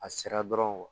A sera dɔrɔn